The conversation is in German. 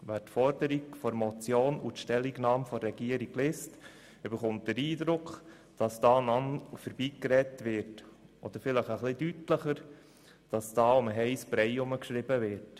Wer die Forderung der Motion und die Stellungnahme der Regierung liest, erhält den Eindruck, dass hier um den heissen Brei herum geschrieben wird.